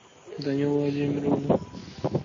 данила владимировна